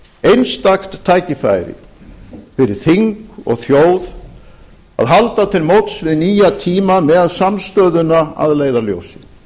einstakt tækifæri fyrir þing og þjóð að halda til móts við nýja tíma með samstöðuna að leiðarljósi